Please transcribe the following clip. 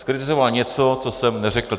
Zkritizoval něco, co jsem neřekl.